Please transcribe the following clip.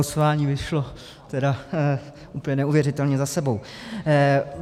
Losování vyšlo tedy úplně neuvěřitelně za sebou.